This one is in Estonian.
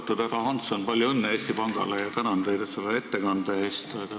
Austatud härra Hansson, palju õnne Eesti Pangale ja tänan teid selle ettekande eest!